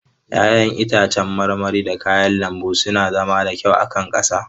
Ya'yan itacen marmari da kayan lambu suna zama da kyau a kankara.